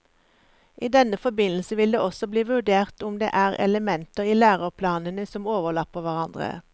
I denne forbindelse vil det også bli vurdert om det er elementer i læreplanene som overlapper hverandre.